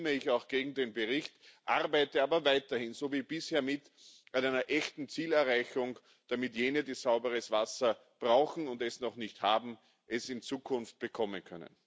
Deshalb stimme ich auch gegen den Bericht, arbeite aber weiterhin so wie bisher mit an einer echten Zielerreichung, damit jene, die sauberes Wasser brauchen und es noch nicht haben, es in Zukunft bekommen können.